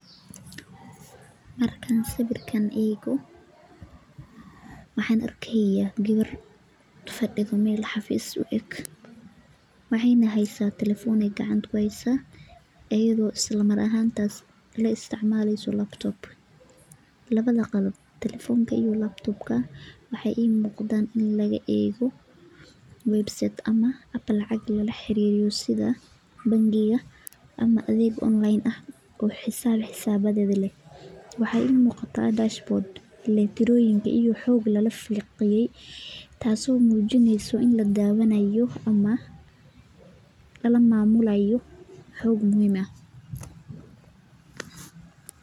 Markaan sawirkan eego waxaan arkayaa gawar fadhido meel xafiis u eg waxeyna haysaa ..teleohone ay gacanta ku heysaa ayadoo isla mar ahaan taas na la isticmaleyso laptop labada qal telefoonka iyo laptop ka waxaa ii muuqdaan in laga eego website ama lacag lala xaririyo sida bangiga ama adeeg online ah oo xisaaab xisabayada ,waxaa ii muuqataa dashboard ,electronic iyo xog lala falanqeeye taas oo muujineyso in lala dawanaayo ama lala maamulaayo xog muhiim ah .